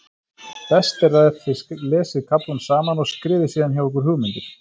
Best er ef þið lesið kaflann saman og skrifið síðan hjá ykkur hugmyndir.